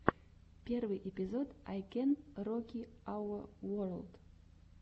первый эпизод ай кэн роки ауэ ворлд